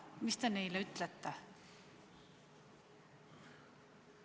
Mis te neile ütlete?